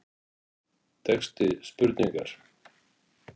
Texti spurningar